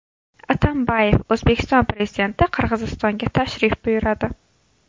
Atambayev: O‘zbekiston Prezidenti Qirg‘izistonga tashrif buyuradi.